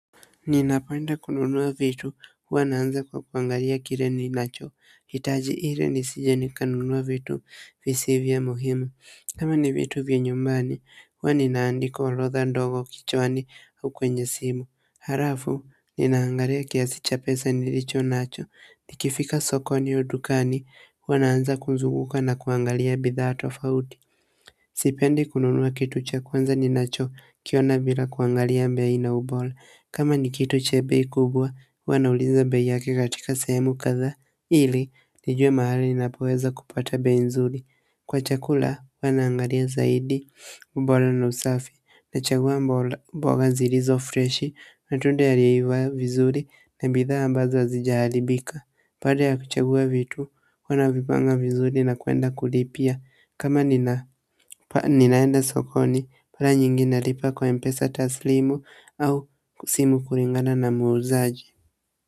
Ninapanda kununua vitu huwa naanza kwa kuangalia kile ninacho. Hitaji ili nisije nikanunua vitu visivyo muhimu kama ni vitu vya nyumbani huwa ninaandika orotha ndogo kichwani au kwenye simu. Alafu ninaangalia kiasi cha pesa nilicho nacho ikifika sokoni au dukani huwa naaza kuzunguka na kuangalia bidhaa tofauti sipendi kitu cha kwanza ninachokiona bila kuangalia bei na ubora kama ni kitu cha bei kubwa huwa nauliza bei yake katika sehemu kadha ili nijue mahali ninapoweza kupata bei nzuri kwa chakula huwa naangalia zaidi ubora na usafi nachagua mboga zilizo freshi, natunda yalio iva vizuri na bidha ambazo hazijaharibika baada ya kuchagua vitu, huwa navipanga vizuri na kuenda kulipia kama ninaenda sokoni mara nyingi nalipa kwa mpesa taslimu au kusimu kulingana na muuzaji.